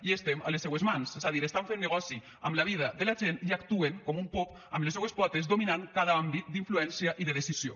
i estem a les seues mans és a dir estan fent negoci amb la vida de la gent i actuen com un pop amb les seues potes dominant cada àmbit d’influència i de decisió